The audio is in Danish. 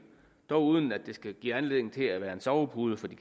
dog uden at det skal give anledning til at være en sovepude for de